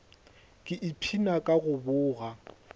ke ipshina ka go boga